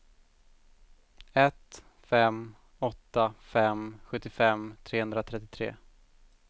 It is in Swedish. ett fem åtta fem sjuttiofem trehundratrettiotre